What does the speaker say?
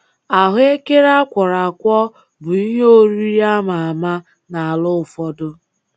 Ahụekere a kwọrọ akwọ bụ ihe oriri ama ama n’ala ụfọdụ.